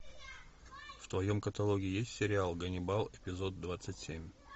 в твоем каталоге есть сериал ганнибал эпизод двадцать семь